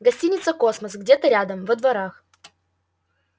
гостиница космос где-то рядом во дворах